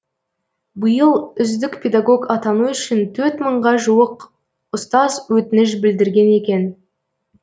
биыл үздік педагог атану үшін төрт мыңға жуық ұстаз өтініш білдірген екен